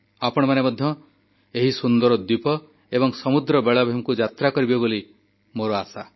ଆପଣମାନେ ମଧ୍ୟ ଏହି ସୁନ୍ଦର ଦ୍ୱୀପ ଏବଂ ସମୁଦ୍ର ବେଳାଭୂମିକୁ ଯାତ୍ରା କରିବେ ବୋଲି ମୋର ଆଶା